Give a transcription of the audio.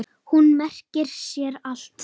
Hún merkir sér allt.